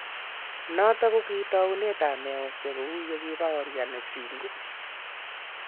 Notok ki taunetab meosiek ko u ye kibaorian Vingu.